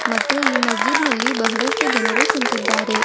ಮತ್ತು ಈ ಮಸ್ಜಿತ್ ನಲ್ಲಿ ಬಹಳಷ್ಟು ಜನರ ಕುಂತಿದ್ದಾರೆ.